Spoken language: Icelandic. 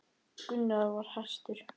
Gunnar var hastur.